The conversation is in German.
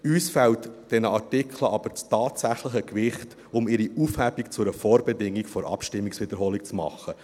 Uns fehlt bei diesen Artikeln aber das tatsächliche Gewicht, um ihre Aufhebung zu einer Vorbedingung der Abstimmungswiederholung zu machen.